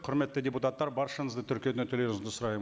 құрметті депутаттар баршаңызды тіркеуден өтулеріңізді сұраймын